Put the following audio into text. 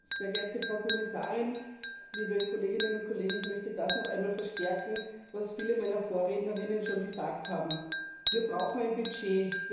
Herr Präsident, sehr geehrte Frau Kommissarin, liebe Kolleginnen und Kollegen! Ich möchte das noch einmal unterstreichen, was viele meiner Vorrednerinnen schon gesagt haben Wir brauchen ein Budget.